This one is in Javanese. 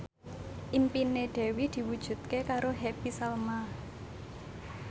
impine Dewi diwujudke karo Happy Salma